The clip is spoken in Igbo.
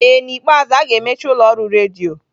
Ee n'ikpeazụ, a ga-emechi ụlọ ọrụ redio.